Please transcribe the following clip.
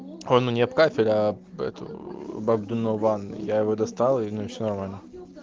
он мне об кафель об эту бабу донован я его достал и все нормально